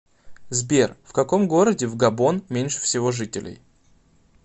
сбер в каком городе в габон меньше всего жителей